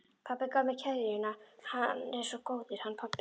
Pabbi gaf mér keðjuna, hann er svo góður, hann pabbi.